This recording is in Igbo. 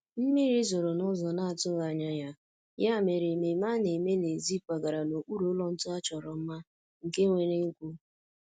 mmiri zoro n'ụzọ na-atughi anya ya, ya mere ememe a na-eme n'èzí kwagara n'okpuru ụlọ ntu a chọrọ mma, nke nwere egwu